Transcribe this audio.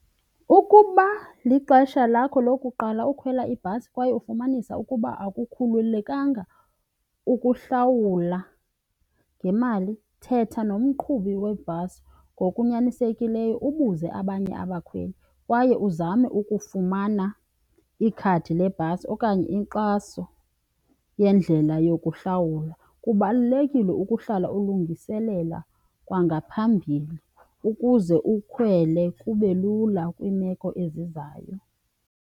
Ukuba lixesha lakho lokuqala ukhwela ibhasi kwaye ufumanisa ukuba akukhululekanga ukuhlawula ngemali thetha nomqhubi webhasi ngokunyanisekileyo, ubuze abanye abakhweli kwaye uzame ukufumana ikhadi lebhasi okanye inkxaso yendlela yokuhlawula. Kubalulekile ukuhlala ulungiselela kwangaphambili ukuze ukhwele kube lula kwiimeko ezizayo.